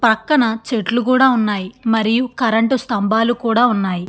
పక్కన చెట్లు కూడా ఉన్నాయి. మరియు కరెంటు స్తంబాలు కూడా ఉన్నాయి.